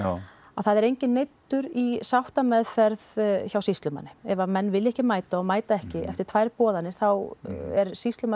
það er enginn neyddur í sáttameðferð hjá sýslumanni ef menn vilja ekki mæta og mæta ekki eftir tvær boðanir þá er sýslumaður